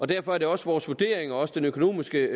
derfor er det også vores vurdering også den økonomiske